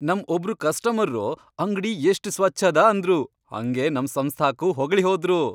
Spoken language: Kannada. ನಂ ಒಬ್ರು ಕಸ್ಟಮರ್ರು ಅಂಗ್ಡಿ ಎಷ್ಟ್ ಸ್ವಚ್ಛದ ಅಂದ್ರು, ಹಂಗೆ ನಮ್ ಸಂಸ್ಥಾಕ್ಕೂ ಹೊಗಳಿಹೋದ್ರು.